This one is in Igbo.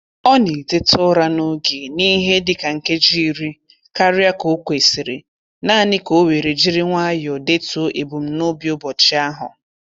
Ọ na-eteta ụra n'oge n'ihe dịka nkeji iri karịa ka o kwesịrị naanị ka o were jiri nwayọ detuo ebumnobi ụbọchị ahụ.